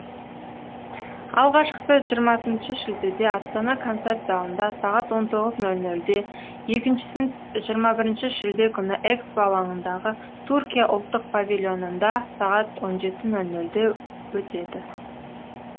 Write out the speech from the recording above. алғашқысы жиырмасыншы шілдеде астана концерт залында сағат он тоғыз нөл нөлде екіншісі жиырма бірінші шілде күні экспо алаңындағы түркия ұлттық павильонында сағат он жеті нөл нөлде өтеді